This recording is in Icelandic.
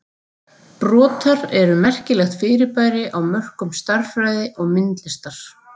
Brotar eru merkilegt fyrirbæri á mörkum stærðfræði og myndlistar.